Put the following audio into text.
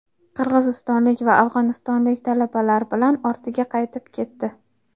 qirg‘izistonlik va afg‘onistonlik talabalar bilan ortiga qaytib ketdi.